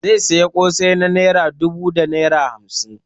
Zai sayi kosai na naira dubu da naira hamsin.